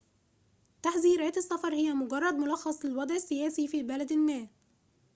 تحذيرات السفر هي مجرد ملخصٍ للوضعِ السياسيِّ في بلد ما